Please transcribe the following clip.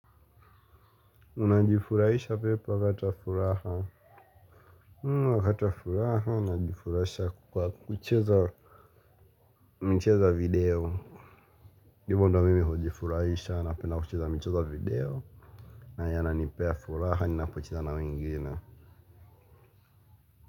Unajifurahisha vipi wakati wa furaha wakati wa furaha najifurahisha kwa kucheza mchezo wa video hivo ndo mimi hujifurahisha napenda kucheza mchezo wa video na yananipea furaha ninapocheza na wengine.